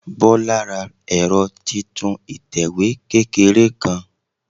Bọ́lá ra ẹ̀rọ titun ìtẹ̀wé kékeré kan